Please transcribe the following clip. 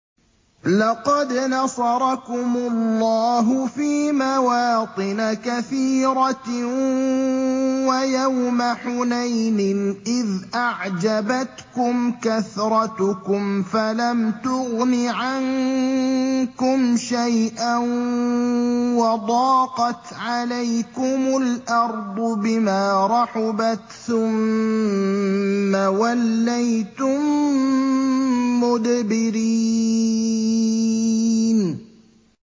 لَقَدْ نَصَرَكُمُ اللَّهُ فِي مَوَاطِنَ كَثِيرَةٍ ۙ وَيَوْمَ حُنَيْنٍ ۙ إِذْ أَعْجَبَتْكُمْ كَثْرَتُكُمْ فَلَمْ تُغْنِ عَنكُمْ شَيْئًا وَضَاقَتْ عَلَيْكُمُ الْأَرْضُ بِمَا رَحُبَتْ ثُمَّ وَلَّيْتُم مُّدْبِرِينَ